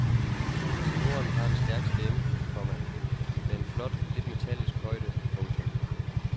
Tenoren har en stærk stemme, komma med en flot lidt metallisk højde. punktum